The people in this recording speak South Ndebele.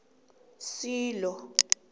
silo